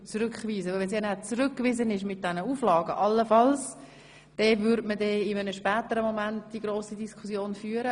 Sollte das Geschäft allenfalls mit Auflagen zurückgewiesen werden, würde die grosse Diskussion zu einem späteren Zeitpunkt geführt.